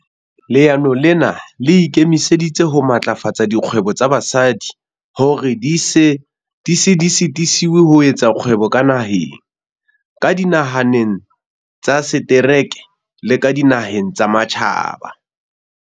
"Leano lena le ikemiseditse ho matlafatsa dikgwebo tsa basadi hore di se sitiswe ho etsa kgwebo ka naheng, ka dinaheng tsa setereke le ka dinaheng tsa matjhaba."